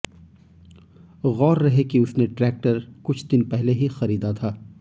गौर रहे कि उसने ट्रैक्टर कुछ दिन पहले ही खरीदा था